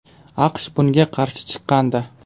AQSh bunga qarshi chiqqandi.